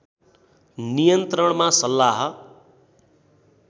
नियन्त्रणमा सल्लाह